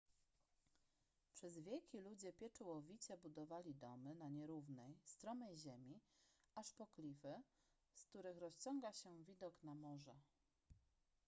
przez wieki ludzie pieczołowicie budowali domy na nierównej stromej ziemi aż po klify z których rozciąga się widok na morze